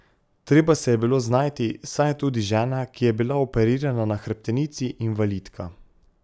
Treba se je bilo znajti, saj je tudi žena, ki je bila operirana na hrbtenici, invalidka.